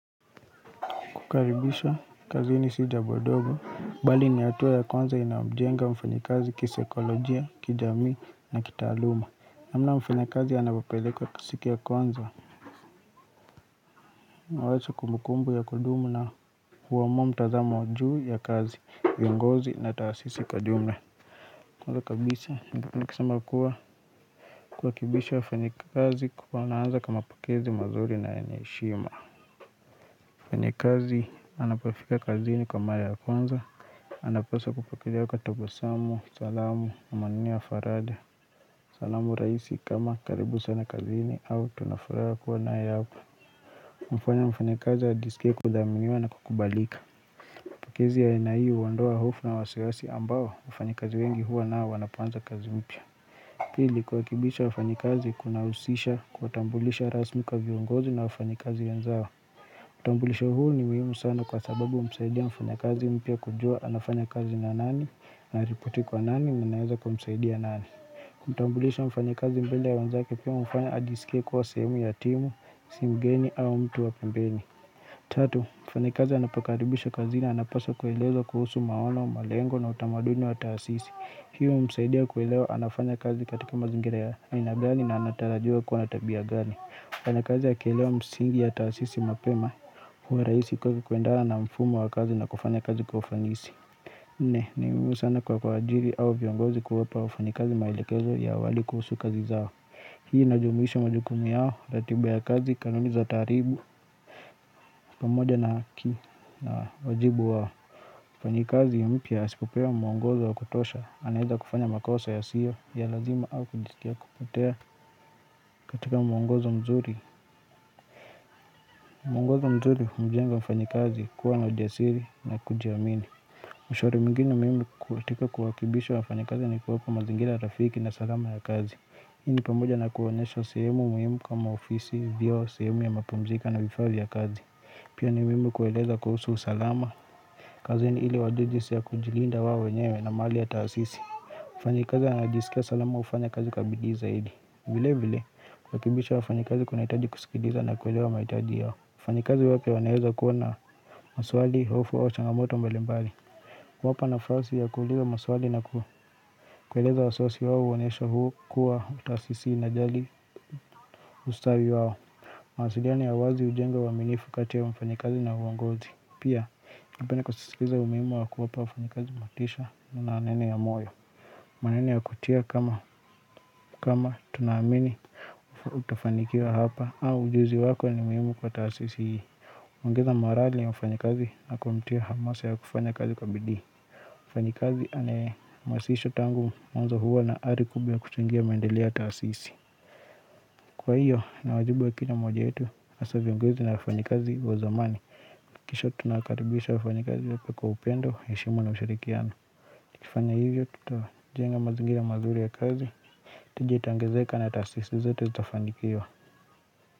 Kukaribishwa kazini si jambo ndogo. Bali ni hatua ya kwanza inayomjenga mfanyakazi kisaikolojia, kijamii na kitaaluma. Namna mfanyakazi anavyopelekwa siku ya kwanza huwacha kumbukumbu ya kudumu na huamua mtazamo juu ya kazi, viongozi na taasisi kwa jumla. Kwanza kabisa, nikisema kuwa kurekebishwa wafanyakazi wanaanza kwa mapokezi mazuri na yenye heshima. Mfanyakazi anapofika kazini kwa mara ya kwanza anapaswa kupokelewa kwa tabasamu, salamu, maneno ya faraja. Salamu rahisi kama, karibu sana kazini au tunafuraha kuwa nawe hapa. Hufanya mfanyakazi ajiskie kuthaminiwa na kukubalika. Pokezi ya aina hii uondoa hofu na wasiwasi ambao wafanyakazi wengi huwa nao wanapoanza kazi mpya. Pili, kurekebisha wafanyakazi kuna kunahusisha kuwatambulisha rasmi kwa viongozi na wafanyakazi wenzao. Utambulisho huu ni muhimu sana kwa sababu humsaidia mfanyakazi mpya kujua anafanya kazi na nani, anarepoti kwa nani, mnaweza kumsaidia nani. Kutambulisha mfanyakazi mbele ya wenzake pia humfanya ajisikie kuwa sehemu ya timu, si mgeni au mtu wa pembeni. Tatu, mfanyakazi anapokaribishwa kazini anapaswa kuelezwa kuhusu maono, malengo na utamaduni wa taasisi. Hiyo humsaidia kuelewa, anafanya kazi katika mazingira ya aina gani na anatarajiwa kuwa na tabia gani. Mfanyakazi akielewa msingi ya taasisi mapema, huwa rahisi kwake kwendana na mfumo wa kazi na kufanya kazi kwa ufanisi. Nne, ni muhimu sana kwa kuajiri au viongozi kuwapa wafanyakazi maelekezo ya waliko kuhusu kazi zao Hii inajumuisho majukumu yao, ratiba ya kazi, kanuni za taaribu, pamoja na haki na wajibu wao Mfanyikazi mpya asipopewa mwongozo wa kutosha, anaweza kufanya makosa yasiyo ya lazima au kujitia kupotea katika mwongozo mzuri. Mwongozo mzuri humjenga mfanyikazi kuwa na ujasiri na kujiamini. Ushauri mwingine muhimu katika kuwakimbisha wafanyikazi ni kuwapa mazingira rafiki na salama ya kazi Hii ni pamoja na kuwaonyesha sehemu muhimu kama ofisi, vyoo, sehemu ya mapumziko na vifaa vya kazi. Pia ni muhimu kuwaeleza kuhusu usalama kazini ili wajue jinsi ya kujilinda wao wenyewe na mali ya taasisi. Mfanyikazi anajisikia salama hufanya kazi kwa bidii zaidi. Vile vile, kurekebisha wafanyikazi kunahitaji kusikiliza na kuelewa mahitaji yao. Wafanyikazi wapya wanaweza kuwa na maswali, hofu, au changamoto mbalimbali. Kuwapa nafasi ya kuuliza maswali na kueleza wasiwasi wao huonyesha kuwa utasisi inajali ustavi wao. Mawasiliano ya uwazi hujenga uaminifu kati ya wafanyikazi na uongozi. Pia, ningependa kusisitiza umuhimu wa kuwapa wafanyakazi motisha na maneno ya moyo. Maneno ya kutia kama kama tunaamini utafanikiwa hapa au ujuzi wako ni muhimu kwa taasisi hii. Ongeza morali ya mfanyikazi na kumtia hamasa ya kufanya kazi kwa bidii. Mfanyikazi anayehamasishwa tangu mwanzo huwa na hari kubwa ya kuchangia maendeleo ya taasisi. Kwa hiyo, ni wajibu wa kila moja wetu hasa viongozi na wafanyikazi wa zamani KishA tunawakaribisha wafanyikazi wote kwa upendo, heshima na ushirikiano. Tukifanya hivyo tutajenga mazingira mazuri ya kazi tija itaongezeka na taasisi zote zitafanikiwa.